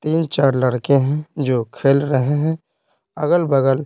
तीन चार लड़के हैं जो खेल रहे हैं अगल-बगल--